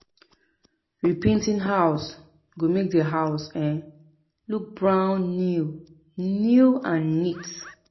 repainting house go make the house um look brand new new and neat